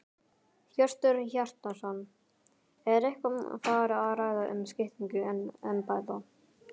Hjörtur Hjartarson: Er eitthvað farið að ræða um skiptingu embætta?